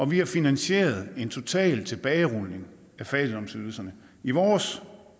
vi har finansieret en total tilbagerulning af fattigdomsydelserne i vores